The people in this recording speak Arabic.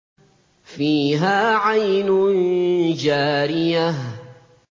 فِيهَا عَيْنٌ جَارِيَةٌ